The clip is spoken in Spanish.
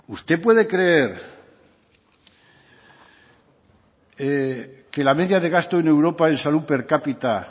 usted puede creer que la media de gasto en europa en salud per cápita